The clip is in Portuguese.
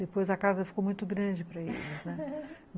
Depois a casa ficou muito grande para eles, né?